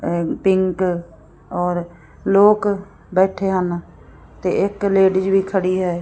Pink ਔਰ ਲੋਕ ਬੈਠੇ ਹਨ ਤੇ ਇੱਕ ਲੇਡੀਜ਼ ਵੀ ਖੜੀ ਹੈ।